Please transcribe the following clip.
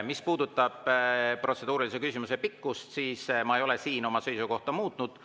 Mis puudutab protseduurilise küsimuse pikkust, siis ma ei ole siin oma seisukohta muutnud.